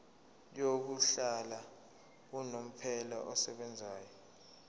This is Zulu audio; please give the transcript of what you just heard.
yokuhlala unomphela esebenzayo